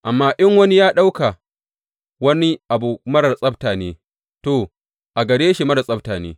Amma in wani ya ɗauka wani abu marar tsabta ne, to, a gare shi marar tsabta ne.